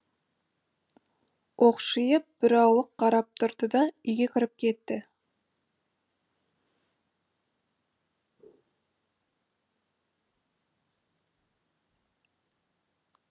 оқшиып бірауық қарап тұрды да үйге кіріп кетті